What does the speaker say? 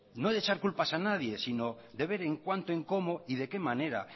no de echar culpas a nadie sino de ver en cuánto en cómo y de qué manera